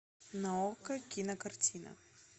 на окко кинокартина